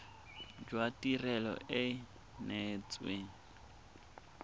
jwa tirelo e e neetsweng